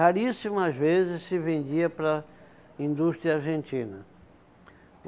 Raríssimas vezes se vendia para a indústria argentina.